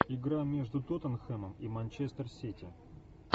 игра между тоттенхэмом и манчестер сити